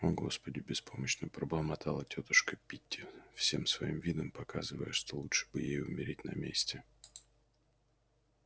о господи беспомощно пробормотала тётушка питти всем своим видом показывая что лучше бы ей умереть на месте